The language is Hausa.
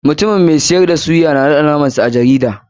Mutumin mai siyar da suyta ya naɗe namar sa a jarida.